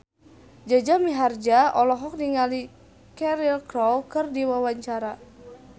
Jaja Mihardja olohok ningali Cheryl Crow keur diwawancara